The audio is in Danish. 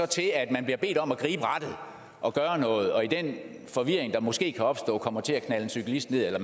til at man bliver bedt om at gribe rattet og gøre noget og i den forvirring der måske kan opstå kommer til at knalde en cyklist ned eller